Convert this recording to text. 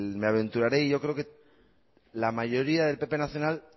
me aventuraré y yo creo que a la mayoría del pp nacional